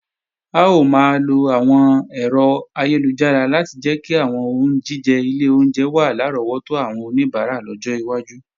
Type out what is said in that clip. A ó máa lo àwọn ẹ̀rọ ayélujára láti jẹ́ kí àwọn oúnjíjẹ ilé oúnjẹ wà lárọ́wọ́tó àwọn oníbàárà lọ́jọ́ iwájú